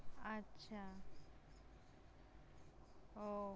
আচ্ছা। উহ